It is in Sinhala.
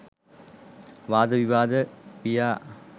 වාද විවාද ගියා